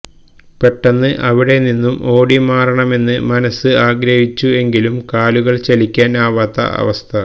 പെട്ടെന്ന് അവിടെ നിന്നും ഓടി മാറണമെന്ന് മനസ്സ് ആഗ്രഹിച്ചു എങ്കിലും കാലുകൾ ചലിക്കാൻ ആവാത്ത അവസ്ഥ